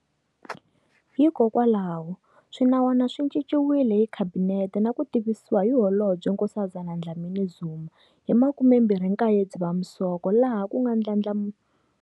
Hikwalaho, swinawana swi cinciwile hi Khabinete na ku tivisiwa hi Holobye Nkosazana Dlamini-Zuma hi ti 29 Dzivamisoko laha ku nga ndlandlamu.